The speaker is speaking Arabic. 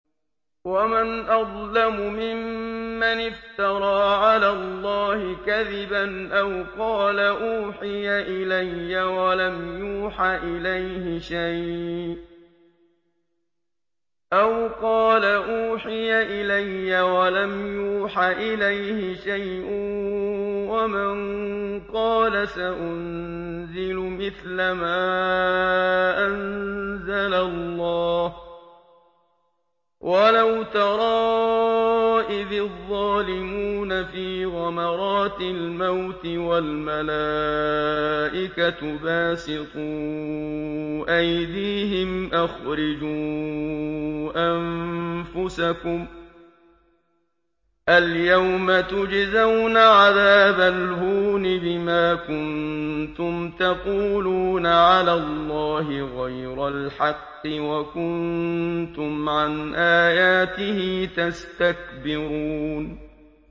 وَمَنْ أَظْلَمُ مِمَّنِ افْتَرَىٰ عَلَى اللَّهِ كَذِبًا أَوْ قَالَ أُوحِيَ إِلَيَّ وَلَمْ يُوحَ إِلَيْهِ شَيْءٌ وَمَن قَالَ سَأُنزِلُ مِثْلَ مَا أَنزَلَ اللَّهُ ۗ وَلَوْ تَرَىٰ إِذِ الظَّالِمُونَ فِي غَمَرَاتِ الْمَوْتِ وَالْمَلَائِكَةُ بَاسِطُو أَيْدِيهِمْ أَخْرِجُوا أَنفُسَكُمُ ۖ الْيَوْمَ تُجْزَوْنَ عَذَابَ الْهُونِ بِمَا كُنتُمْ تَقُولُونَ عَلَى اللَّهِ غَيْرَ الْحَقِّ وَكُنتُمْ عَنْ آيَاتِهِ تَسْتَكْبِرُونَ